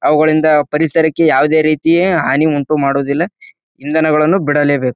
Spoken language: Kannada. ಅವುಗಳಿಂದ ಪರಿಸರಕ್ಕೆ ಯಾವುದೇ ರೀತಿಯ ಹನಿ ಉಂಟು ಮಾಡುವುದಿಲ್ಲ ಇಂಧನಗಳನ್ನು ಬಿಡಲೇಬೇಕು.